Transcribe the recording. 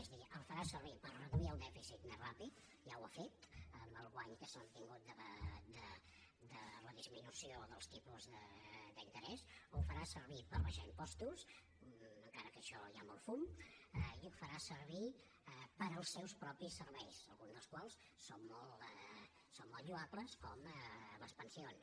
és a dir el farà servir per reduir el dèficit més ràpidament ja ho ha fet amb el guany que s’ha obtingut de la disminució dels tipus d’interès ho farà servir per abaixar impostos encara que en això hi ha molt fum i ho farà servir per als seus propis serveis alguns dels quals són molt lloables com les pensions